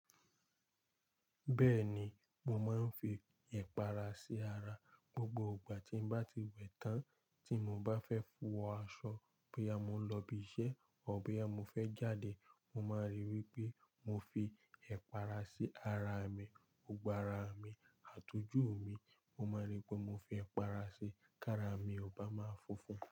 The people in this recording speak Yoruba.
Bẹ́ẹ̀ni, mo máa ń fi ẹipàrà sí ara gbogbo ìgbà tí mo bá ti wẹ̀ tán tí mo bá fẹ́ wọ aṣọ, bóyá mo ń lọ ibi iṣẹ́ àbí bóyá mo fẹ́ jáde. Mo máa rí i wí pé mo fi ẹ̀pàrà sí ara mi, ọgbà ara mi, àtòjú mi, mo máa rí pé mo fi ẹ̀pàrà sí káàrà mi, o bá máa fúnfún.